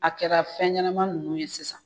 A kɛra fɛn ɲɛnama nunnu ye sisan